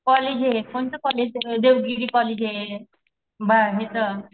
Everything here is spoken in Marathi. कॉलेज हे कोणतं कॉलेज देवगिरी कॉलेजे. बा हेच